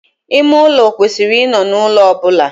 Ime ulo kwesiri I no n'ulo obula.